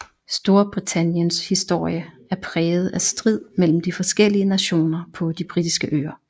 Storbritanniens historie er præget af strid mellem de forskellige nationer på De britiske øer